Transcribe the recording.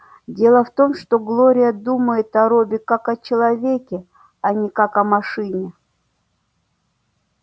дело в том что глория думает о робби как о человеке а не как о машине